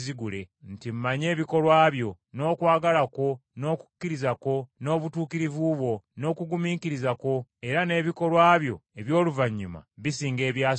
nti, Mmanyi ebikolwa byo, n’okwagala kwo, n’okukkiriza kwo, n’obutuukirivu bwo, n’okugumiikiriza kwo, era n’ebikolwa byo eby’oluvannyuma bisinga ebyasooka.